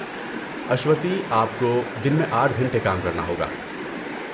اشوتی، آپ کو دن میں آٹھ گھنٹے کام کرنا ہوگا